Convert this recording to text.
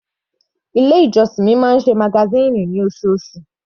Ilé ìjọsìn mi máa ń ṣe magazine ní osoosù.